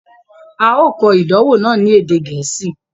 A o kọ̀ idànwọ̀ náà ni èdè Gẹẹsi